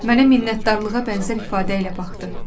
Mənə minnətdarlığa bənzər ifadə ilə baxdı.